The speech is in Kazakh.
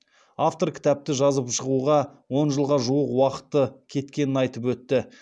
автор кітапты жазып шығуға он жылға жуық уақыты кеткенін айтып өтті